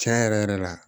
Tiɲɛ yɛrɛ yɛrɛ la